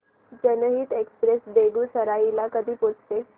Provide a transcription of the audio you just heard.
जनहित एक्सप्रेस बेगूसराई ला कधी पोहचते